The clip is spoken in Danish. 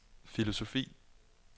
filosofi